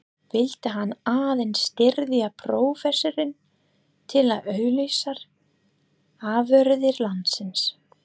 Vildi hann aðeins styðja prófessorinn til að auglýsa afurðir landsins?